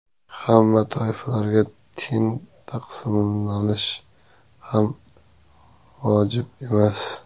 Hamma toifalarga teng taqsimlash ham vojib emas.